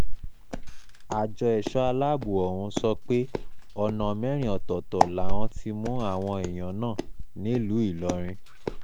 àjọ ẹ̀ṣọ́ aláàbọ̀ ọ̀hún sọ pé ọ̀nà mẹ́rin ọ̀tọ̀ọ̀tọ̀ làwọn ti mú àwọn èèyàn náà nílùú ìlọrin